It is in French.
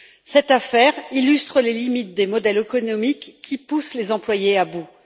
Cette affaire illustre les limites des modèles économiques qui poussent les employés à bout.